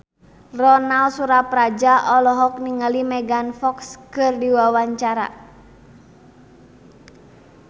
Ronal Surapradja olohok ningali Megan Fox keur diwawancara